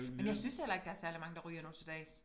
Men jeg synes heller ikke der særlig mange der ryger nu til dags